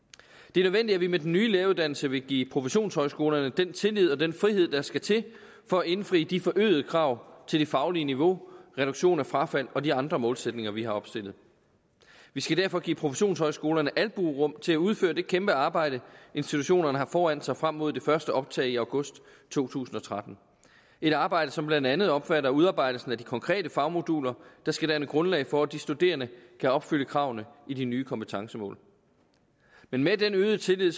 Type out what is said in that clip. nødvendigt at vi med den nye læreruddannelse vil give professionshøjskolerne den tillid og den frihed der skal til for at indfri de forøgede krav til det faglige niveau reduktion af frafald og de andre målsætninger vi har opstillet vi skal derfor give professionshøjskolerne albuerum til at udføre det kæmpe arbejde institutionerne har foran sig frem mod det første optag i august to tusind og tretten et arbejde som blandt andet omfatter udarbejdelsen af de konkrete fagmoduler der skal danne grundlag for at de studerende kan opfylde kravene i de nye kompetencemål men med den øgede tillid